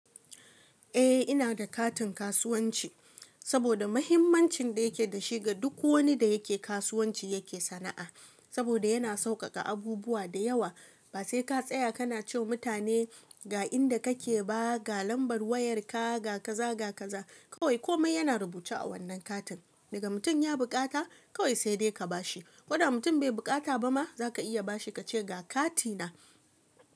Eh ina da katin kasuwanci saboda muhimmancin da yake da shi ga duk wani da yake kasuwanci yake sana'a saboda yana sauƙaƙa abubuwa da yawa ba sai ka tsaya ka na ce wa mutane ga inda kake ba ga lambar wayarka ga kaza ga kaza kawai komai yana rubuce a wannan katin daga mutum ya buƙata kawai sai dai ka ba shi koma mutum bai buƙata ba ma za ka iya ba shi kace ga kati na.